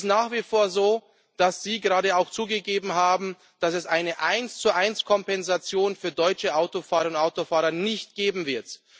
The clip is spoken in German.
Es ist nach wie vor so, dass Sie gerade auch zugegeben haben, dass es eine Eins zu eins Kompensation für deutsche Autofahrerinnen und Autofahrer nicht geben wird.